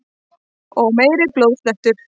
Og meiri blóðslettur!